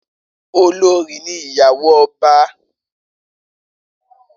Olorì ní ìyàwó ọba